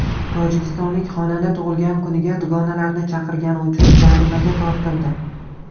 Tojikistonlik xonanda tug‘ilgan kuniga dugonalarini chaqirgani uchun jarimaga tortildi.